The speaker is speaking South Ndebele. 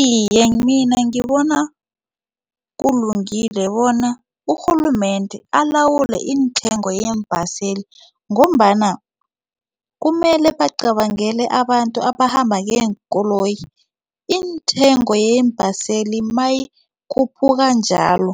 Iye, mina ngibona kulungile bona urhulumende alawule intengo yeembaseli ngombana kumele bacabangele abantu abakhamba ngeenkoloyi intengo yeembaseli mayikhuphuka njalo